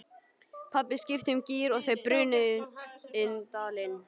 Pabbi skipti um gír og þau brunuðu inn dalinn.